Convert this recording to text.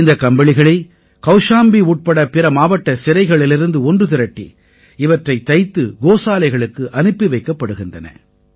இந்தக் கம்பளிகளை கௌஷாம்பி உட்பட பிற மாவட்ட சிறைகளிலிருந்து ஒன்று திரட்டி இவற்றைத் தைத்து கோசாலைகளுக்கு அனுப்பி வைக்கப் படுகின்றன